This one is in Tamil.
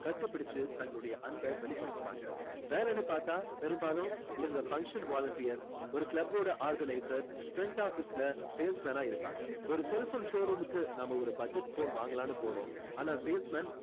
கட்டிப்புடிச்சு தங்களோட அன்பை வெளிப்படுத்துவாங்க வேலைன்னு பார்த்தா பெரும்பாலும் இவங்க function volunteers ஒரு club ஓட organizers front office ல sales man ஆ இருப்பாங்க ஒரு cellphone showroom க்கு நாம ஒரு budget phone வாங்கலாம்னு போறோம் ஆனா sales man